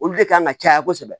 Olu de kan ka caya kosɛbɛ